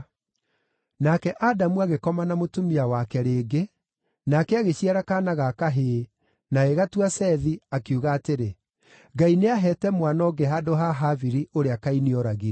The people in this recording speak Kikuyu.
Nake Adamu agĩkoma na mũtumia wake rĩngĩ, nake agĩciara kaana ga kahĩĩ, na agĩgatua Sethi, akiuga atĩrĩ, “Ngai nĩaheete mwana ũngĩ handũ ha Habili, ũrĩa Kaini ooragire.”